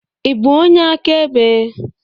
Ị bụ onye akaebe?